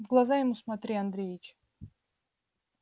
в глаза ему смотри андреевич